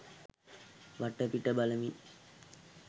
වටපිට බලමින්